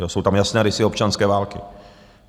Jsou tam jasné rysy občanské války.